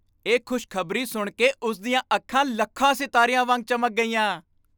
ਇਹ ਖੁਸ਼ ਖਬਰੀ ਸੁਣ ਕੇ ਉਸ ਦੀਆਂ ਅੱਖਾਂ ਲੱਖਾਂ ਸਿਤਾਰਿਆਂ ਵਾਂਗ ਚਮਕ ਗਈਆਂ।